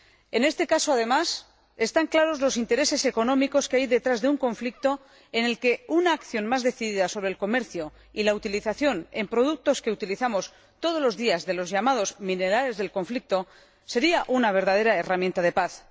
En este caso, además, están claros los intereses económicos que hay detrás de un conflicto en el que una acción más decidida sobre el comercio y la utilización, en productos que utilizamos todos los días, de los llamados minerales del conflicto sería una verdadera herramienta de paz.